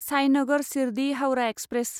Sainagar Shirdi Howrah express